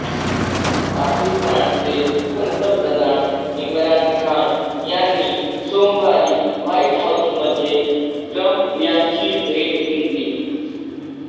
पाकिस्तानचे पंतप्रधान इम्रान खान यांनी सोमवारी व्हाईट हाऊसमध्ये ट्रम्प यांची भेट घेतली